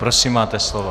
Prosím, máte slovo.